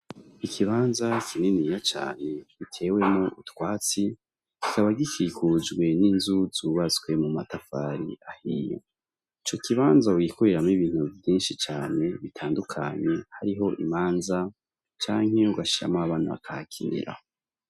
Ikibanza kininiya cane giteyemwo utwatsi kikaba gikikujwe n'inzu zubatse mu matafari ahiye. Ico kibazo wogikoreramwo ibintu vyinshi cane bitandukanye harimwo imanza canke ugashiramwo abana bakahakinira.